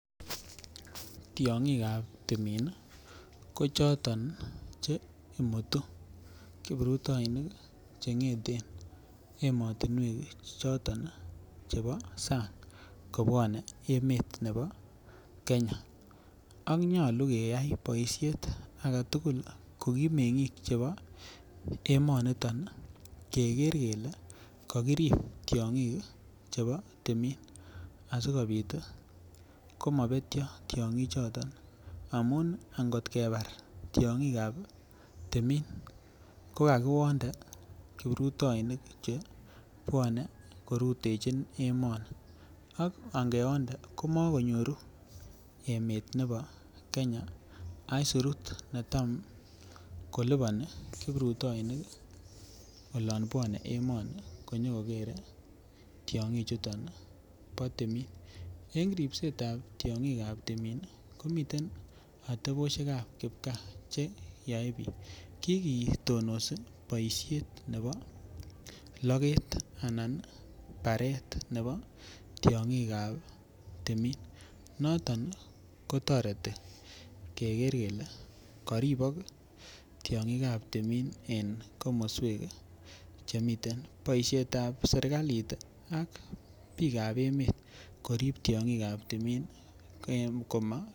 Tyongikab timin nii ko choton che imutu kiprutoinik chengeten emotunwek choton chebo Sany kobwone emet nebo Kenya ak nyolu keyai boishet agetukul nlko komengik chebo emoniton nii Keker kele kokirib tyongik chebo timin asikopit tii komopetyo tyongik choton amun kot kebar tyongikab timin ko kakiwonde kiprutoinik chebwone che rutechin emeni ak nkewonde komokonyoru emet nebo Kenya isutu netam koliponi kiprutoinik olon bwone emoni konyokokere tyongik chuton bo timin. En ripsetab tyongik timin komiten oteposhekab kipkaa che yoe bik, kikitonosi boishet nebo loket anan baret nebo tyongikab timin. Noton kotoreti Keker kele koribok tyongikab timin en komoswek chemiten. Boishetab serkalit ak bikab emet korib tyongikab timin en koma.